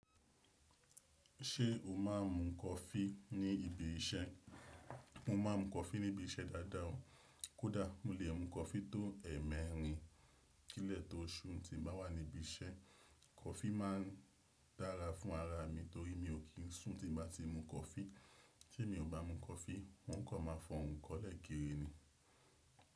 Ṣé o má a ń mu coffee ní ibi iṣẹ́? Mo ma ń mu coffee ní ibi iṣẹ́ dáadáa o. Kódà mo lè mu coffee tó ẹ̀mẹ́ẹ̀rin kílẹ̀ tó ṣù tí mo bá wà níbi iṣẹ́. Coffee má a ń dára fún ara mi torí mi ò kí ń sùn tí bá ti mu coffee. Tí èmi ò bá mu coffee, wọn kò máa f'ọrùn kọ́lẹ̀ kéré ni.